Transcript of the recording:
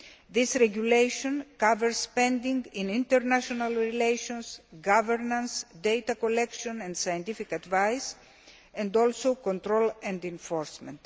This regulation covers spending in international relations, governance, data collection and scientific advice, and also control and enforcement.